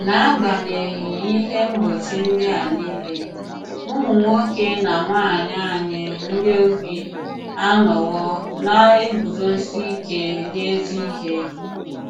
N’agbànyéghị́ Íhè mgbochi ndị a niile, ùmụ̀ nwòkè na nwànyị̀ ànyị̀ ndị ogbi anọwo na-eguzosi ìkè n’ezi ihé.